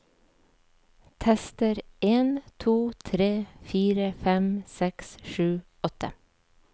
Tester en to tre fire fem seks sju åtte